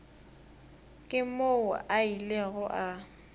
ke moo a ilego a